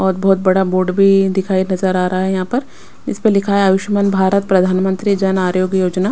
और बहुत बड़ा बोर्ड भी दिखाई नजर आ रहा है यहाँ पर इस पर लिखा है आयुष्मान भारत प्रधानमंत्री जन आरोग्य योजना।